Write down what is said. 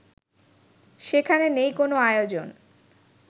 সেখানে নেই কোনো আয়োজন